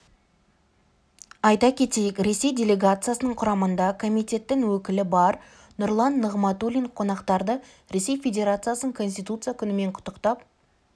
айта кетейік ресей делегациясының құрамында комитеттің өкілі бар нұрлан нығматулин қонақтарды ресей федерациясының конституция күнімен құттықтап